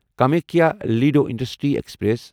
Kamakhya Ledo intercity express